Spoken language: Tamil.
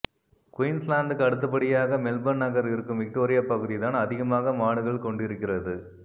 குயீன்ஸ்லாந்துக்கு அடுத்தபடியாக மெல்பர்ன் நகர் இருக்கும் விக்டோரியாபகுதிதான் அதிகமாக மாடுகள் கொண்டிருக்கிறது